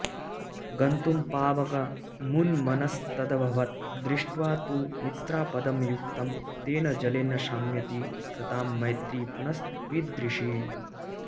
गन्तुं पावकमुन्मनस्तदभवद् दृष्ट्वा तु मित्रापदं युक्तं तेन जलेन शाम्यति सतां मैत्री पुनस्त्वीदृशी